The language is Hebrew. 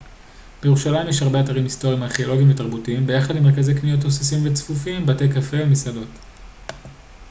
בירושלים יש הרבה אתרים היסטוריים ארכאולוגיים ותרבותיים ביחד עם מרכזי קניות תוססים וצפופים בתי קפה ומסעדות